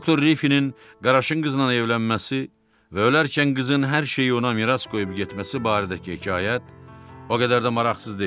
Doktor Riffinin qaraşın qızla evlənməsi və öləndə qızın hər şeyi ona miras qoyub getməsi barədəki hekayət o qədər də maraqsız deyil.